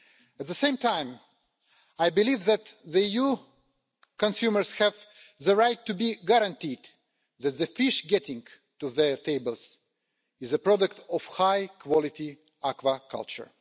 At the same time, I believe that EU consumers have the right to be guaranteed that the fish reaching their tables is the product of high quality aquaculture.